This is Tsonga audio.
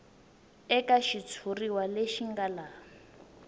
eka xitshuriwa lexi nga laha